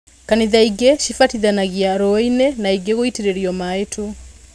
Kanitha ingĩ cibatithanagia rũi-inĩ na ingi gũitĩrĩrio mai tu